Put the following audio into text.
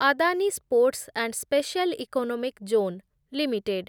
Adani sports and special economic zone limited